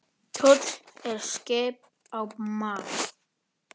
Kjóll er skip á mar.